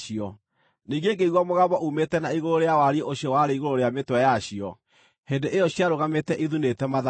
Ningĩ ngĩigua mũgambo uumĩte na igũrũ rĩa wariĩ ũcio warĩ igũrũ rĩa mĩtwe yacio hĩndĩ ĩyo ciarũgamĩte ithunĩte mathagu.